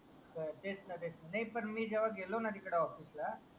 तेच ना तेच ना मिजेव्हा गेलो ना ऑफीस ला